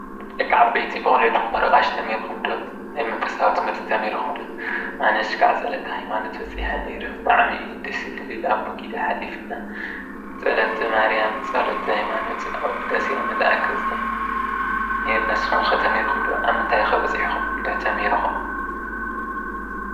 ደቂ ዓበይቲ ብቖልዕኹም ምህሮ ቀሺ ተማሂርኩም ዶ? ናይ መንፈሳዊ ትምህርቲ ትምርኩም ዶ? ኣነ እስካዕ ፀሎተ ሃይማኖት በፂሒ ነይረ። ብጣዕሚ ደስ ልብል ኣቦ ጊዳ ሃሊፍና። ፀሎተ ማርያም፣ ፀሎተ ሃይማኖት ኣብ ውዳሴ መልኣክ በፂሕና ነይርና ንስኩም ከ ተማሂርኩም ዶ? ኣብ ምንታይ ኸ በፂሕኩም? እንድሕር ተማሂርኩም?